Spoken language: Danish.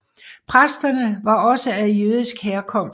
Præsterne var også af jødisk herkomst